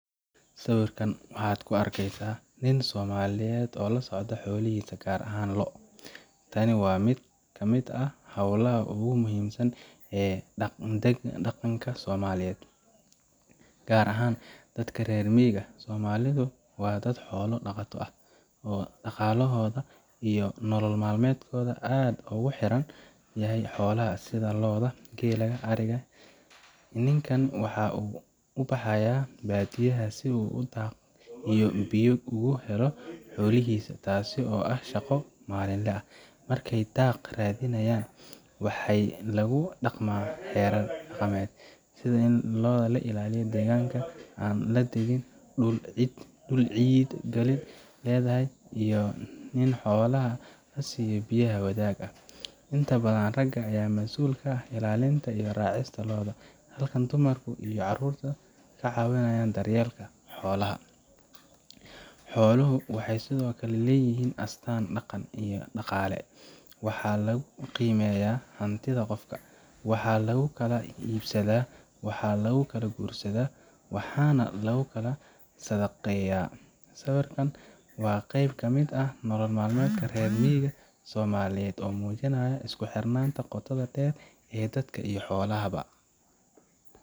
Sawirkan waxaad ka arkaysaa nin Soomaaliyeed oo la socda xoolihiisa, gaar ahaan lo’. Tani waa mid ka mid ah hawlaha ugu muhiimsan ee dhaqanka Soomaaliyeed, gaar ahaan dadka reer miyiga ah. Soomaalidu waa dad xoolo dhaqato ah oo dhaqaalahooda iyo nolol maalmeedkoodu aad ugu xiran yahay xoolaha sida lo’da, geela, adhiga iyo ariga. Ninkaan waxaa uu u baxay baadiyaha si uu daaq iyo biyo ugu helo xoolihiisa, taas oo ah shaqo maalinle ah. Markay daaq raadinayaan, waxaa lagu dhaqmaa xeerar dhaqameed, sida in la ilaaliyo deegaanka, aan la degin dhul cid kale leedahay, iyo in xoolaha la siiyo biyo wadaag ah. Inta badan, ragga ayaa mas'uul ka ah ilaalinta iyo raacista lo’da, halka dumarka iyo carruurtuna ka caawiyaan daryeelka xoolaha. Xooluhu waxay sidoo kale yihiin astaan dhaqan iyo dhaqaale, waxaana lagu qiimeeyaa hantida qofka. Waxaa lagu kala iibsadaa, waxaa lagu guursadaa, waxaana lagu sadaqeeyaa. Sawirkan waa qayb ka mid ah nolol maalmeedka reer miyiga Soomaaliyeed oo muujinaya isku xirnaanta qotada dheer ee dadka iyo xoolaha ba.